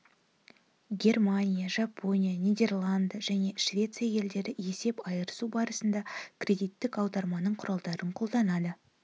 германия жапония нидерланды және швеция елдері есеп айырысу барысында кредиттік аударымның құралдарын қолданады